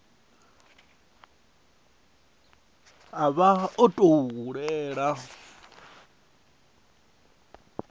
a vha o tou hulela